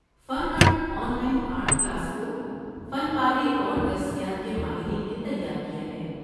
فن art online art class کو فن پارے اور درسیات کے ماہرین نے تیار کیا ہے۔